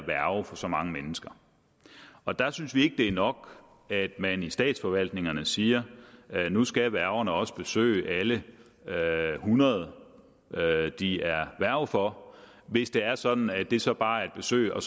værge for så mange mennesker og der synes vi ikke det er nok at man i statsforvaltningerne siger at nu skal værgerne også besøge alle hundrede de er værger for hvis det er sådan at det så bare er et besøg og